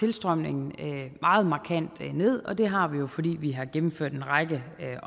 tilstrømningen meget markant ned og det har vi jo fordi vi har gennemført en række